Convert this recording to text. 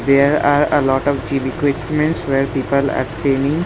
There are a lot of gym equipments where pepal are training.